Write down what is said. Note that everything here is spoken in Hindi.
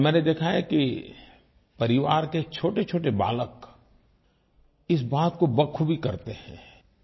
और मैंने देखा है कि परिवार के छोटेछोटे बालक इस बात को बखूबी करते हैं